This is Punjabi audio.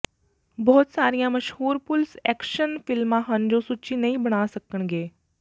ਬਹੁਤ ਸਾਰੀਆਂ ਮਸ਼ਹੂਰ ਪੁਲਸ ਐਕਸ਼ਨ ਫਿਲਮਾਂ ਹਨ ਜੋ ਸੂਚੀ ਨਹੀਂ ਬਣਾ ਸਕਣਗੇ